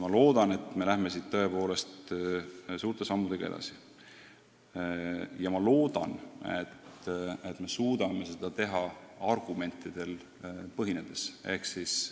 Loodan, et me läheme siit suurte sammudega edasi, ja vahest suudame seda teha argumentidele toetudes.